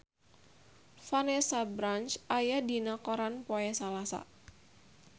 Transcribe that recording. Vanessa Branch aya dina koran poe Salasa